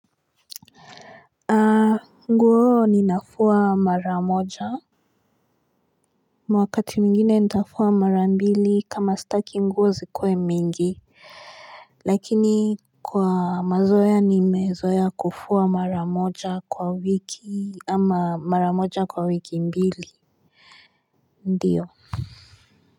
Nguo ninafua mara moja wakati mwingine nitafua mara mbili kama staki nguo zikue mingi Lakini kwa mazoea nimezoea kufua mara moja kwa wiki ama mara moja kwa wiki mbili ndio.